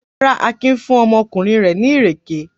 Rárá, Akin fún ọmọkùnrin rẹ̀ ní ìrèké.